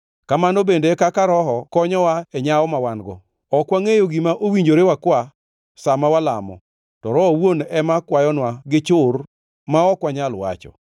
Kamano bende e kaka Roho konyowa e nyawo ma wan-go. Ok wangʼeyo gima owinjore wakwa sa ma walamo, to Roho owuon ema kwayonwa gi chur ma ok wanyal wacho.